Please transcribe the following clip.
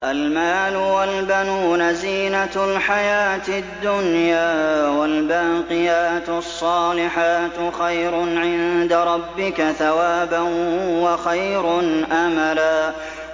الْمَالُ وَالْبَنُونَ زِينَةُ الْحَيَاةِ الدُّنْيَا ۖ وَالْبَاقِيَاتُ الصَّالِحَاتُ خَيْرٌ عِندَ رَبِّكَ ثَوَابًا وَخَيْرٌ أَمَلًا